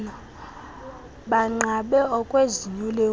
banqabe okwezinyo lenkuku